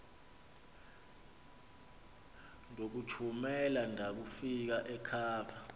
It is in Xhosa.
ndokuthumela ndakufika ekhava